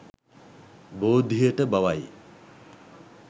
බෝධියට බවයි